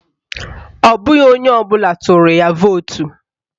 Ọ bụghị onye ọbụla tụrụ ya vootu